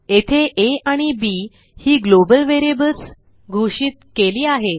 येथे आ आणि बी ही ग्लोबल व्हेरिएबल्स घोषित केली आहेत